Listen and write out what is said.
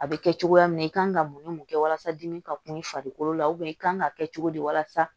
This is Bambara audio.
A bɛ kɛ cogoya min na i kan ka mun ni mun kɛ walasa dimi ka kum i farikolo la i kan ka kɛ cogo di walasa